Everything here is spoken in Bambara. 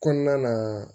Kɔnɔna na